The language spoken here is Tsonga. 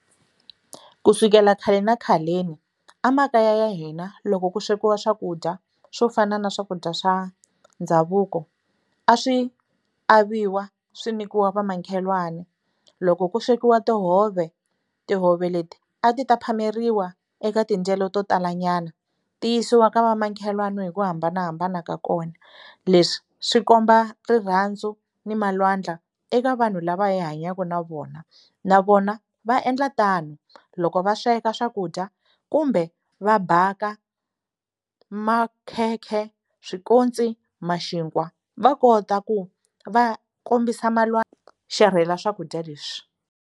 Ku sukela khale na khaleni a makaya ya hina loko ku swekiwa swakudya swo fana na swakudya swa ndhavuko a swi aviwa swi nyikiwa vamakhelwana loko ku swekiwa tihove tihove leti a ti ta phameriwa eka tinjhelo to tala nyana ti yisiwa ka vamakhelwana hi ku hambanahambana ka kona leswi swi komba rirhandzu ni malwandla eka vanhu lava hi hanyaka na vona na vona va endla tano loko va sweka swakudya kumbe va bhaka makhekhe swikonsi ma xinkwa va kota ku va kombisa xerhela swakudya leswi.